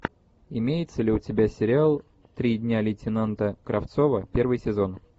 имеется ли у тебя сериал три дня лейтенанта кравцова первый сезон